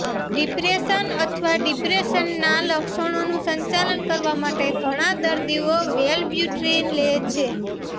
depression અથવા ડિપ્રેશનના લક્ષણોનું સંચાલન કરવા માટે ઘણા દર્દીઓ વેલ્બ્યુટ્રિન લે છે